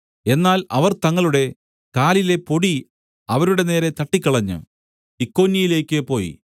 എന്നാൽ അവർ തങ്ങളുടെ കാലിലെ പൊടി അവരുടെ നേരെ തട്ടിക്കളഞ്ഞ് ഇക്കോന്യയിലേക്ക് പോയി